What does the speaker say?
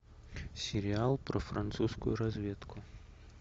сериал про французскую разведку